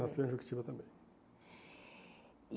Nasceu em Jequitiba também.